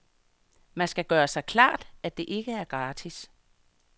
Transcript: Man skal bare gøre sig klart, at det ikke er gratis.